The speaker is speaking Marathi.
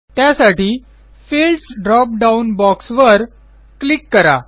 त्यासाठी फील्ड्स ड्रॉप डाउन बॉक्सवर क्लिक करा